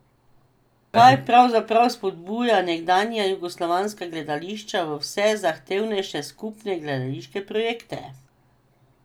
Kaj pravzaprav spodbuja nekdanja jugoslovanska gledališča v vse zahtevnejše skupne gledališke projekte?